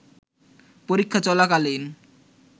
পরীক্ষা চলাকালীন